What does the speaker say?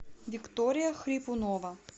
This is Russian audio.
виктория хрипунова